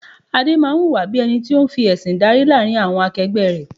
Adé máa ń hùwà bí ẹni tó ń fi ẹsin dárí láàrin àwọn akegbe rẹ.